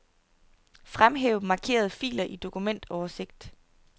Fremhæv markerede filer i dokumentoversigt.